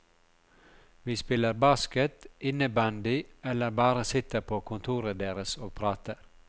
Vi spiller basket, innebandy eller bare sitter på kontoret deres og prater.